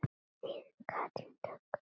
Þín Katrín Dögg.